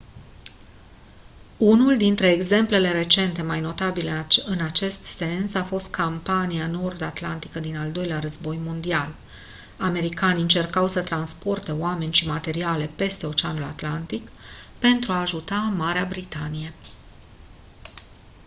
unul dintre exemplele recente mai notabile în acest sens a fost campania nord atlantică din al doilea război mondial americanii încercau să transporte oameni și materiale peste oceanul atlantic pentru a ajuta marea britanie